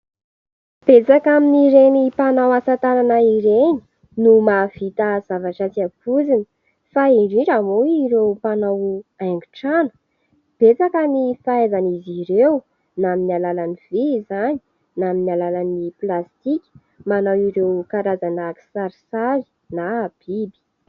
Betsaka amin'ireny mpanao asa tanana ireny no mahavita zavatra tsy ampoizina fa indrindra moa ireo mpanao haingo trano. Betsaka ny fahaizan'izy ireo na amin'ny alalan'ny vy izany na amin'ny alalan'ny plastika manao ireo karazana kisarisary na biby.